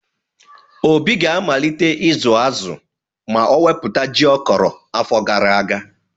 Obi ga-amalite ịzụ azụ ma ọ wepụta ji ọ kọrọ afọ gara aga.